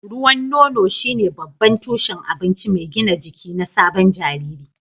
Ruwan nono shine babban tushen abinci mai gina jiki na sabon jariri.